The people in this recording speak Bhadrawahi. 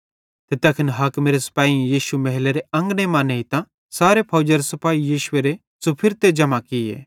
ते तैखन हाकिमेरे सिपैहीयेइं यीशु महलेरे अंगने मां नेइतां सारे फौजरे सिपाही यीशुएरे च़ुफुरतां जम्हां भोए